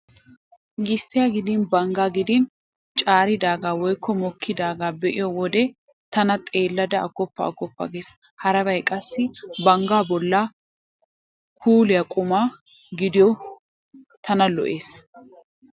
Gisttiyaa gidin banggaa gidin caaridaagaa woykko mokkidaagaa be'iyo wode tana xeellada aggoppa aggoppa gees. Harabay qassi banggaa bollaa kooliyaa quma gidiyo tana lo'ees.